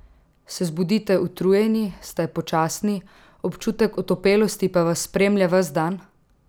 Se zbudite utrujeni, ste počasni, občutek otopelosti pa vas spremlja ves dan?